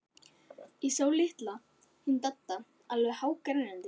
Sá litli, hann Diddi, alveg hágrenjandi.